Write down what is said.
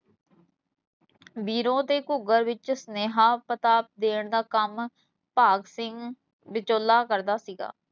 ਬੀਰੋਂ ਤੇ ਘੂਗਰ ਵਿੱਚ ਸੁਨੇਹਾ ਪਤਾ ਡੈਣ ਦਾ ਕੰਮ ਭਾਗ ਸਿੰਘ ਵਿਚੋਲਾ ਕਰਦਾ ਸੀਗਾ